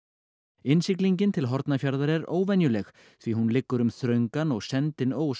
innsiglingin til Hornafjarðar er óvenjuleg því hún liggur um þröngan og sendinn ós